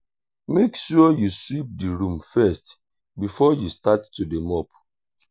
make sure you sweep the room first before you start to dey mop